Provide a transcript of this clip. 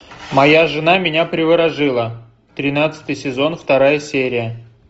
моя жена меня приворожила тринадцатый сезон вторая серия